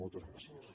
moltes gràcies